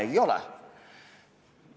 Ei ole!